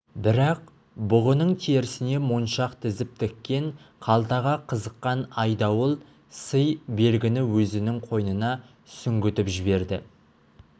бірақ бұғының терісіне моншақ тізіп тіккен қалтаға қызыққан айдауыл сый белгіні өзінің қойнына сүңгітіп жіберді